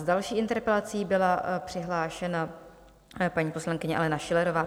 S další interpelací byla přihlášena paní poslankyně Alena Schillerová.